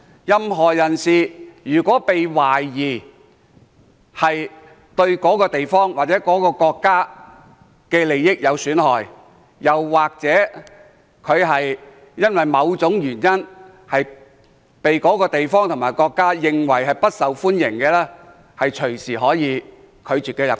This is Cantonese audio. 任何人如果被懷疑對某地方或某國家的利益有損害，又或者因為某種原因，被該地方或國家視為不受歡迎，當地政府可隨時拒絕他入境。